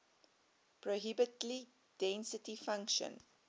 probability density function